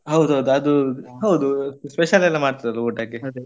ಹೌದೌದು ಅದು ಹೌದು special ಎಲ್ಲ ಮಾಡ್ತಾ ಇದ್ರಲ್ಲ ಊಟಕ್ಕೆ .